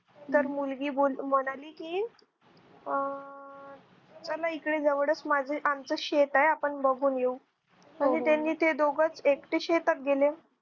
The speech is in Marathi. तर मुलगी मुलगी म्हणाली कि अह तर णा ईकडे जवळच आमच शेत आहे आपण बघून येऊ आणि त्यांनी ते दोघं एकटेच शेतात गेले